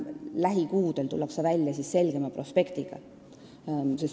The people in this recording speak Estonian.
Lähikuudel tullakse välja selgema prospektiga.